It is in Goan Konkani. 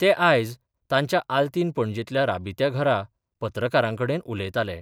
ते आयज तांच्या आल्तीन पणजेंतल्या राबित्या घरा पत्रकारां कडेन उलयताले.